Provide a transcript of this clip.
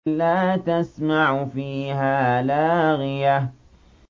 لَّا تَسْمَعُ فِيهَا لَاغِيَةً